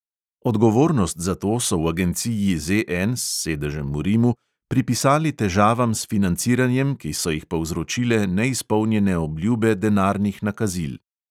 Odgovornost za to so v agenciji ZN s sedežem v rimu pripisali težavam s financiranjem, ki so jih povzročile neizpolnjene obljube denarnih nakazil.